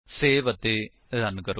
save ਅਤੇ run ਕਰੋ